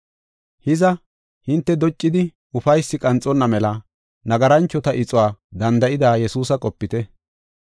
Hiza, hinte doccidi ufaysi qanxonna mela nagaranchota ixuwa danda7ida Yesuusa qopite.